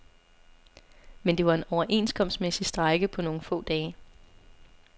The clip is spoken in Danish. Men det var en overenskomstmæssig strejke på nogle få dage.